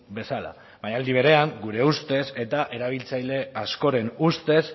bezala baina aldi berean gure ustez eta erabiltzaile askoren ustez